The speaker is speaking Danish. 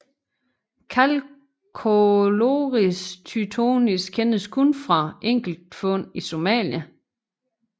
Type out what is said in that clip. Calcochloris tytonis kendes kun fra enkelt fund i Somalia